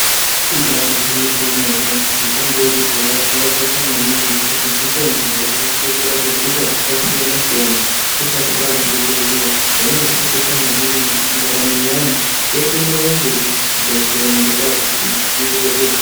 Ibaari gwinyiso yemene mitombo yekudhaya yakakosha maningi nekuti mitombo yaishandiswa kurape hosha dzakasiyana siyana kusati kwaane zvibhedhleya zvainga zvakakosha maningi nekuti ndaramo yevanthu yaitoenderera mberi zvibhedhleya nyangwe kwaakusina.